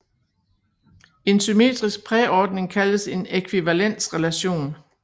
En symmetrisk præordning kaldes en ækvivalensrelation